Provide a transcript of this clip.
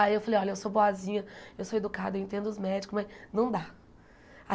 Aí eu falei, olha, eu sou boazinha, eu sou educada, eu entendo os médicos, mas não dá.